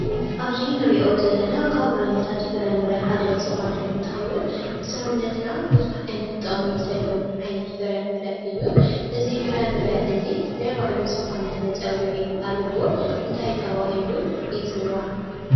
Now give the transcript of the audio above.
ኣብዚ እንሪኦ ዘለና ካብ ዓይነታት ፍረ-ምረ ሓደ እንትኸውን ንሰውነታ ብዙሕ ዓይነት ጠቅሚ ዘለዎ ዓይነት ፍረ ምረ እዩ ።እዚ ፍረ -ምረ እዙይ ናይ ባዕሉዝኾነ መፀዊዒ ኣለዎ ።እንታይ ተባሂሉ ይፅዋዕ ?